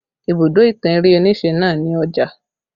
Ibùdó ìtàn eré onise náà ni Ọjà